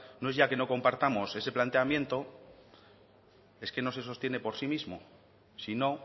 no es ya que no compartamos ese planteamiento es que no se sostiene por sí mismo si no